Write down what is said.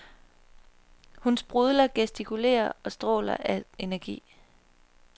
Hun sprudler, gestikulerer og stråler af energi.